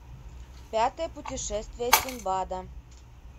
пятое путешествие синдбада